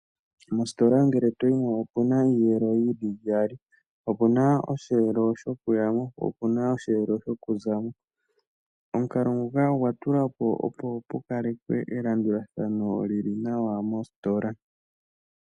Mositola ngele to yi mo opu na iiyelo yi li iyali. Opu na osheelo shokuya mo, po opu na osheelo shokuza mo. Omukalo nguka ogwa tulwa po opo pu kalekwe elandulathano li li nawa mositola.